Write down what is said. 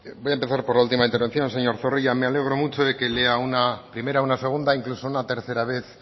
voy a empezar por la última intervención señor zorrilla me alegro mucho de que lea una primera una segunda incluso una tercera vez